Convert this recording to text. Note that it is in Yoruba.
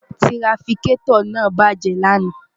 tirafikẹ́tọ̀ náà bàjẹ́ lánàá